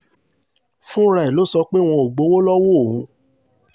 fúnra ẹ̀ ló sọ pé wọn ò gbowó lọ́wọ́ òun